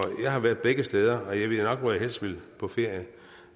jeg har været begge steder og jeg ved nok hvor jeg helst ville på ferie det